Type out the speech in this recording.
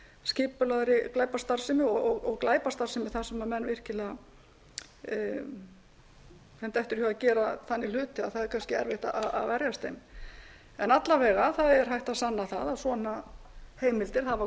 skipulagðri glæpastarfsemi og glæpastarfsemi þar sem mönnum dettur virkilega í hug að gera þannig hluti að það er kannski erfitt að verjast þeim en alla vega er hægt að sanna að svona heimildir hafa